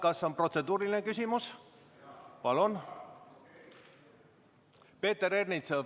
Kas on protseduuriline küsimus?